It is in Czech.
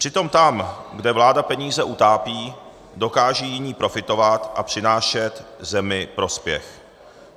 Přitom tam, kde vláda peníze utápí, dokáže jiný profitovat a přinášet zemi prospěch.